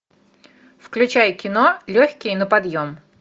включай кино легкие на подъем